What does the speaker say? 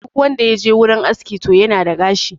Duk wanda ya je wurin aski to yana da gashi